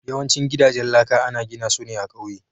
Yawancin gidajen laka ana gina su ne a ƙauye.